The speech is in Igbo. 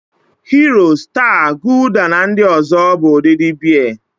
Hiro, Staa, Gulda na ndị ọzọ bụ ụdịdị Bịa.